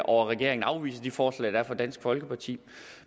og at regeringen afviser de forslag der er fra dansk folkeparti